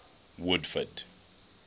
woodford